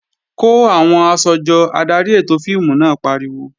Kó àwọn aṣọ jọ! Adarí ètò fíìmù náà pariwo.